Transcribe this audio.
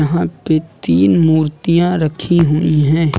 यहां पे तीन मूर्तियां रखी हुई है।